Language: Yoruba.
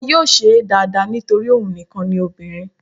Wọn yóò ṣé é dáadáa nítorí òun nìkan ni obìnrin